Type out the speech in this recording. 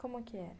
Como que era?